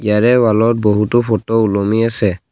ইয়াৰে ওৱালত বহুতো ফটো ওলমি আছে।